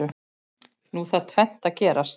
Nú þarf tvennt að gerast.